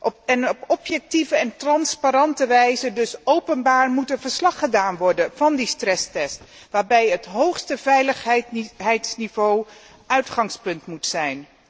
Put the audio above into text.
Op objectieve en transparante wijze, dus openbaar, moet er verslag gedaan worden van die stresstest, waarbij het hoogste veiligheidsniveau uitgangspunt moet zijn.